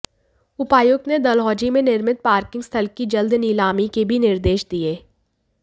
उपायुक्त ने डलहौजी में निर्मित पार्किंग स्थल की जल्द नीलामी के भी निर्देश दिए